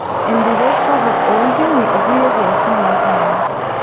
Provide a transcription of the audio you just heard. Endunrot sapuk oontimi okulie kiasin ooltungana.